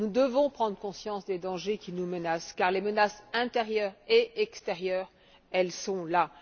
Nous devons prendre conscience des dangers qui nous menacent, car les menaces intérieures et extérieures sont là.